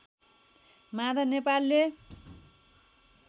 माधव नेपालले